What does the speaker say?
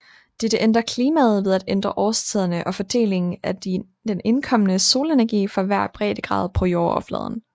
Dette ændrer klimaet ved at ændre årstiderne og fordelingen af den indkommende solenergi for hver breddegrad på jordoverfladen